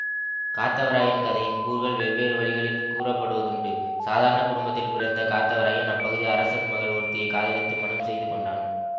காத்தவராயன் கதையின் கூறுகள் வெவ்வேறு வழிகளில் கூறப்படுவதுண்டு சாதாரண குடும்பத்தில் பிறந்த காத்தவராயன் அப்பகுதி அரசன் மகள் ஒருத்தியைக் காதலித்து மணம் செய்து கொண்டான்